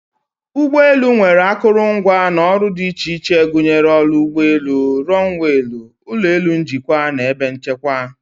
ụgbọ elu nwere akụrụngwa na ọrụ dị iche iche gụnyere oru ụgbọ elu, runwaylu, ụlọ elu njikwa na ebe nchekwa.